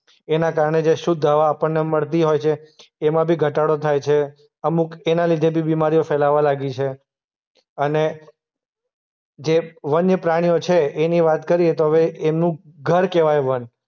એના કારણે જે શુદ્ધ હવા આપણને મળતી હોય છે એમાં બી ઘટાડો થાય છે. અમુક એના લીધે બી બીમારીઓ ફેલાવા લાગી છે. અને જે વન્ય પ્રાણીઓ છે એની વાત કરીએ તો હવે એમનું ઘર કહેવાય વન.